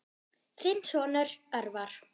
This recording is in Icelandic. Þinn sonur, Örvar.